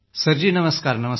sir ji प्रणाम